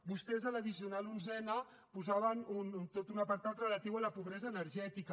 vostès a l’addicional onzena posaven tot un apartat relatiu a la pobresa energètica